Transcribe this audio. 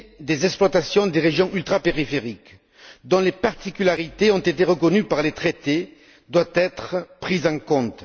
des exploitations des régions ultrapériphériques, dont les particularités ont été reconnues par les traités, doit être prise en compte.